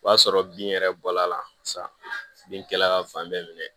O y'a sɔrɔ bin yɛrɛ bɔla la sa bin kɛla ka fan bɛɛ minɛ